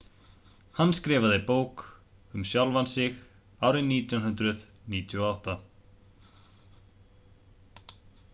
hann skrifaði bók um sjálfan sig árið 1998